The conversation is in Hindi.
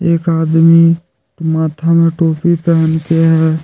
एक आदमी माथा में टोपी पहन के है।